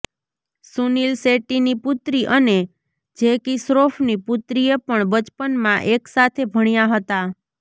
સુનિલ શેટ્ટીની પુત્રી અને જેકીશ્રોફની પુત્રીએ પણ બચપનમાં એક સાથે ભણ્યા હતા